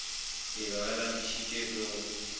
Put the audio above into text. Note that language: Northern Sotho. be ba lapišitšwe ke go